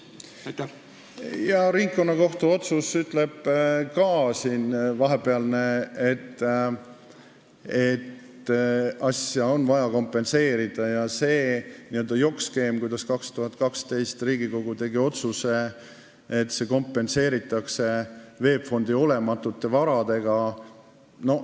Jaa, vahepealne ringkonnakohtu otsus ütleb ka, et tehtut on vaja kompenseerida, et see oli n-ö jokkskeem, mille aastal 2012 Riigikogu tegi oma otsusega, et nõuded kompenseeritakse VEB Fondi olematute varadega.